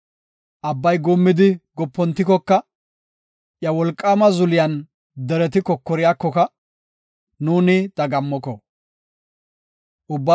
Abbay guummidi gopontikoka, iya wolqaama zuliyan dereti kokoriyakoka, nuuni dagammoko. Salaha.